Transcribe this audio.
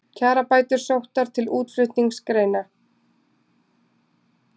Kjarabætur sóttar til útflutningsgreina